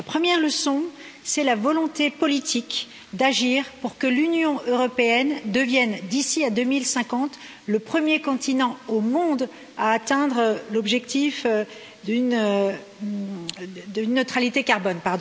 La première, c'est la volonté politique d'agir pour que l'Union européenne devienne d'ici à 2050, le premier continent au monde à atteindre l'objectif d'une neutralité carbone.